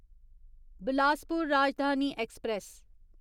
Bilaspur Rajdhani express